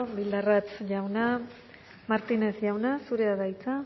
bildarratz jauna martínez jauna zurea da hitza